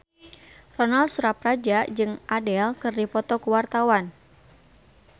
Ronal Surapradja jeung Adele keur dipoto ku wartawan